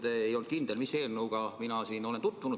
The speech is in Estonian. Te ei olnud kindel, mis eelnõuga mina olen tutvunud.